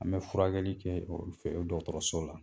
An bɛ furakɛli kɛ fɛ o dɔgɔtɔrɔso la